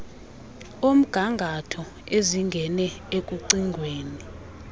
omgangatho ezingene ekucingweni